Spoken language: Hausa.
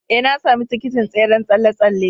Ee, na sami tikitin tseren tsalle-tsalle.